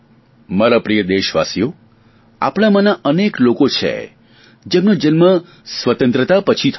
મારા પ્રિય દેશવાસીઓ આપણામાંના અનેક લોકો છે જેમનો જન્મ સ્વતંત્રતા પછી થયો છે